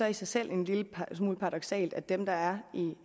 i sig selv er en lille smule paradoksalt at dem der er